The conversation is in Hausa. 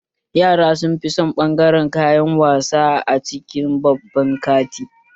Yara sunfi son ɓangaren kayan wasa a cikin babban kanti